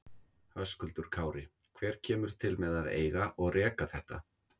Höskuldur Kári: Hver kemur til með að eiga og reka þetta?